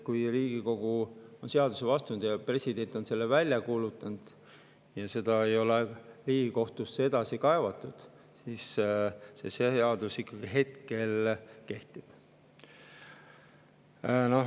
Kui Riigikogu on seaduse vastu võtnud, president on selle välja kuulutanud ja seda ei ole Riigikohtusse edasi kaevatud, siis see seadus ikkagi kehtib.